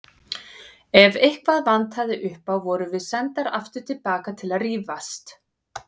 Ef eitthvað vantaði upp á vorum við sendar aftur til baka til að rífast.